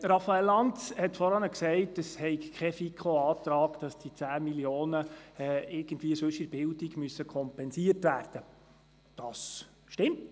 Raphael Lanz hat vorhin gesagt, es sei kein Antrag eingereicht worden, der verlange, dass die 10 Mio. Franken in einem anderen Bereich der Bildung kompensiert werden müssen.